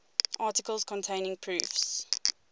articles containing proofs